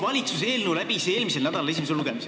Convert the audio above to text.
Valitsuse eelnõu esimene lugemine eelmisel nädalal lõpetati.